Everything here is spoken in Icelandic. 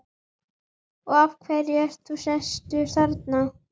Og af hverju ert þú sestur þarna?